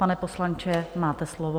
Pane poslanče, máte slovo.